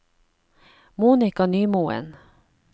Monika Nymoen